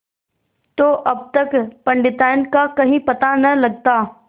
तो अब तक पंडिताइन का कहीं पता न लगता